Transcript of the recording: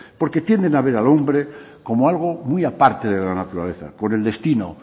porque tienen a ver al hombre como algo muy aparte de la naturaleza con el destino